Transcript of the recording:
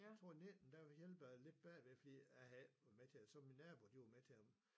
Jeg tror 19 der hjælpede jeg lidt bagved fordi jeg havde ikke været med til det og så min nabo de var med til det